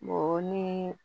Mɔgɔ ni